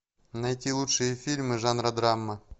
найти лучшие фильмы жанра драма